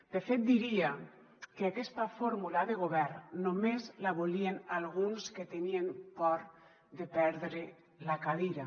de fet diria que aquesta fórmula de govern només la volien alguns que tenien por de perdre la cadira